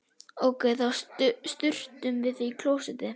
Ókei, þá sturtum við því í klósettið.